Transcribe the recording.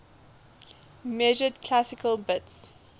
measured classical bits